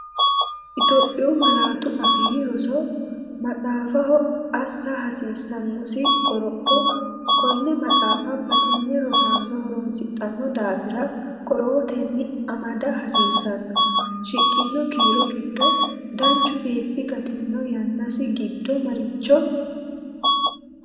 Itophiyu Malaatu Afii Roso MAXAAFAHO ASSA HASIISSANNOSI QOROPHO Konne maxaafa batinye rosaano horoonsidhanno daafira qorowotenni amada hasiissanno, Shiqqino kiiro giddo danchu beetti gattino yannasi giddo maricho?